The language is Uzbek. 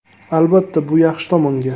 Albatta, bu yaxshi tomonga.